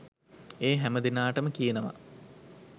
ඒ හැම දෙනාටම කියනවා